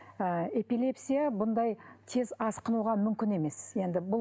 ы эпилепсия бұндай тез асқынуға мүмкін емес енді бұл